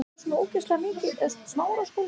Hvað var stærsti fíllinn stór?